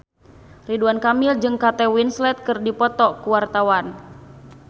Ridwan Kamil jeung Kate Winslet keur dipoto ku wartawan